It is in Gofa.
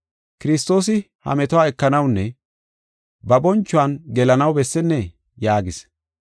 Kiristoosi ha metuwa ekanawunne ba bonchuwan gelanaw bessennee?” yaagis.